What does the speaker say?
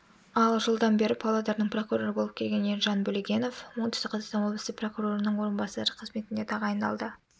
ал жылдан бері павлодардың прокуроры болып келген ержан бөлегенов оңтүстік қазақстан облысы прокурорының орынбасары қызметіне тағайындалды